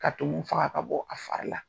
Ka tumu faga ka bɔ a fari la.